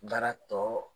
Baara tɔ